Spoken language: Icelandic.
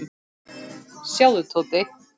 Sjáðu, Tóti.